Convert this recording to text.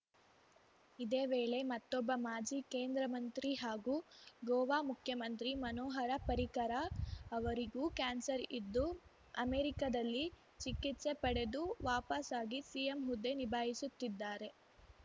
ಇದೇ ವೇಳೆ ಮತ್ತೊಬ್ಬ ಮಾಜಿ ಕೇಂದ್ರ ಮಂತ್ರಿ ಹಾಗೂ ಗೋವಾ ಮುಖ್ಯಮಂತ್ರಿ ಮನೋಹರ ಪರಿಕರ ಅವರಿಗೂ ಕ್ಯಾನ್ಸರ್‌ ಇದ್ದು ಅಮೆರಿಕದಲ್ಲಿ ಚಿಕಿತ್ಸೆ ಪಡೆದು ವಾಪಸಾಗಿ ಸಿಎಂ ಹುದ್ದೆ ನಿಭಾಯಿಸುತ್ತಿದ್ದಾರೆ